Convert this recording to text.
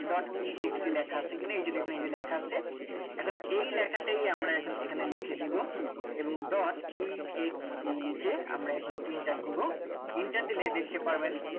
dot e x e লেখা আছে কিনা এই যে দেখুন এই যে লেখা আছে এখন এই লেখাটাই আমরা এখন লিখে দেবো এবং dot e x e লিখে আমরা এখন enter দেবো enter দিলে দেখতে পারবেন